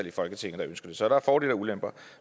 i folketinget der ønsker det så der er fordele og ulemper